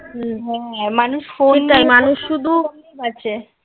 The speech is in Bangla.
হুম হ্যাঁ. মানুষ ফোন চায় মানুষ শুধু বাঁচে